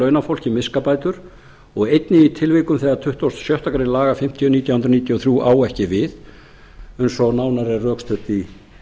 launafólki miskabætur og einnig í tilvikum þegar tuttugasta og sjöttu grein laga fimmtíu nítján hundruð níutíu og þrjú á ekki við eins og nánar er rökstutt í